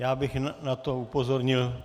Já bych na to upozornil.